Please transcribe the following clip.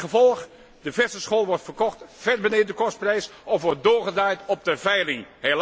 Het gevolg de verse schol wordt verkocht ver beneden de kostprijs of wordt doorgedraaid op de veiling.